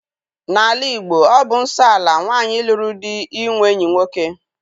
N'ala Igbo, ọ bụ nsọ ala nwaanyị lụrụ di inwe enyi nwoke.